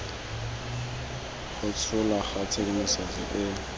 go tsholwa ga tshedimosetso e